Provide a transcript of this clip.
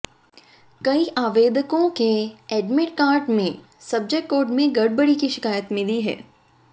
कई आवेदकों के एडमिट कार्ड में सब्जेक्ट कोड में गड़बड़ी की शिकायत मिली है